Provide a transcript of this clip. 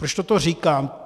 Proč toto říkám?